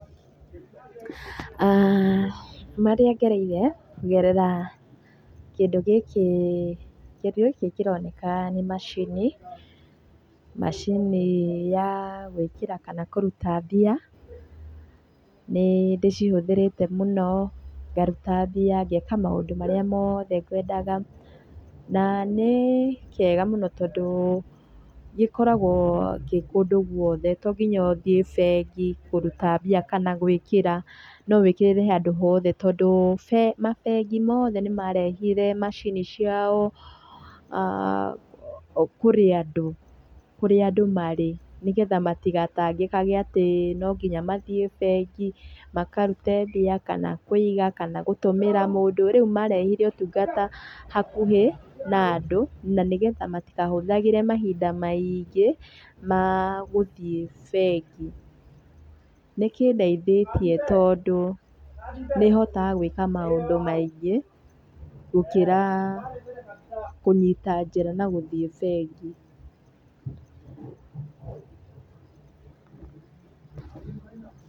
Marĩa ngereire kũgerera kĩndũ gĩkĩ kĩroneka nĩ macini, macini ya gwĩkĩra kana kũruta mbia. Nĩ ndĩcihũthĩrĩte mũno, ngaruta mbia ngeka maũndü marĩa mothe ngwendaga. Na nĩ kega mũno tondũ gĩkoragwo gĩ kũndũ guothe to nginya ũthiĩ bengi kũruta mbia kana gwĩkĩra, no wĩkĩrĩre handũ hothe tondũ ma bengi mothe nĩ marehire macini ciao kũrĩa andũ marĩ nĩgetha matigatangĩkage atĩ no nginya mathiĩ bengi makarute mbia kana kũiga kana gũtũmĩra mũndũ, rĩu marehire ũtũngata hakũhĩ na andũ na nĩgetha matikahũthagĩre mahinda maingĩ ma gũthiĩ bengi. Nĩ kĩndeithĩtie tondũ nĩhotaga gwĩka maũndũ maingĩ gũkĩra kũnyita njĩra na gũthiĩ bengi.